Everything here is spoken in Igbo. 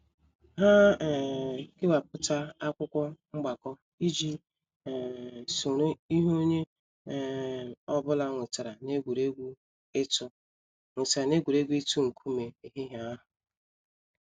Ha um kewapụta akwụkwọ mgbako iji um soro ihe onye um ọ bụla nwetara n’egwuregwu itu nwetara n’egwuregwu itu nkume ehihie ahụ